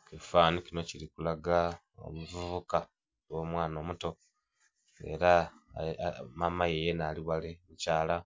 Ekifananhi kinho kili kulaga omuvibuka oba omwana omuto era mama ghe yenha ali ghale, mukyala